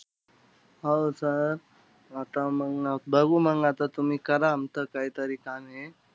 हो sir आता मंग बघू मंग आता. तुम्ही करा आमचं काहीतरी काम हे.